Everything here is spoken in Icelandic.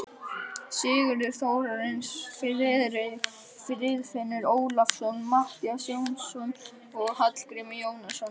Sigurður Þórarinsson, Friðfinnur Ólafsson, Matthías Jónasson og Hallgrímur Jónasson.